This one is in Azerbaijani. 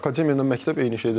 Akademiya ilə məktəb eyni şeydir?